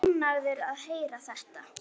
Ánægður að heyra þetta.